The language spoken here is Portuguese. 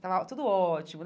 Estava tudo ótimo.